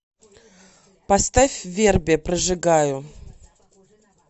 поставь верби прожигаю